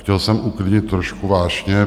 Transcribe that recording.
Chtěl jsem uklidnit trošku vášně.